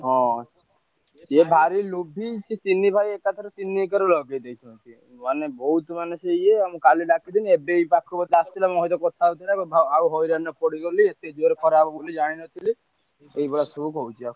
ହଁ ସେ ଭାରି ଲୋଭୀ। ସେ ତିନି ଭାଇ ଏକାଥରେ ତିନି ଏକର ଲଗେଇଦେଇଛନ୍ତି। ମାନେ ବହୁତ ମାନେ ସିଏ ଇଏ ମତେ କାଲି ଡ଼ାକିଥିଲେ ଏବେବି ପାଖୁକୁ ଆସିଥିଲେ ମୋ ସହିତ କଥା ହଉଥିଲେ ଆଉ ହଇରାଣରେ ପଡ଼ିଗଲି ଏତେ ଜୋରେ ଖରା ହବ ବୋଲି ଜାଣିନଥିଲି। ଏଇଭଳିଆ ସବୁ କହୁଥିଲା।